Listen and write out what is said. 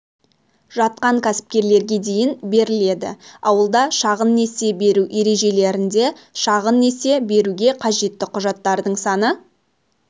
жатқан кәсіпкерлерге дейін беріледі ауылда шағын несие беру ережелерінде шағын несие беруге қажетті құжаттардың саны